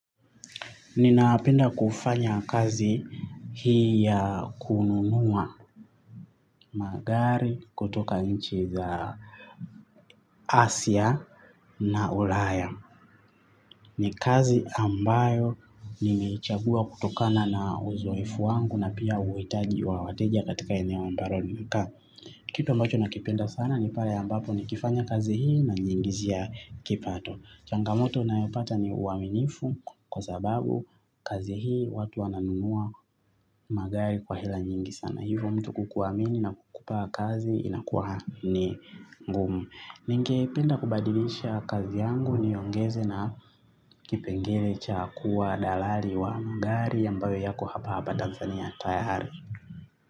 Ninapenda kufanya kazi hii ya kununua magari kutoka nchi za Asia na Ulaya. Ni kazi ambayo nimeichagua kutokana na uzoefu wangu na pia uhitaji wa wateja katika eneo ambalo ninakaa. Kitu ambacho nakipenda sana ni pale ambapo nikifanya kazi hii najiingizia kipato. Changamoto nayopata ni uaminifu kwa sababu kazi hii watu wananunua magari kwa hela nyingi sana. Hivo mtu kukuamini na kukupa kazi inakuwa ni ngumu. Ningependa kubadilisha kazi yangu niongeze na kipengele cha kuwa dalari wa magari ambayo yako hapa hapa tanzania tayari.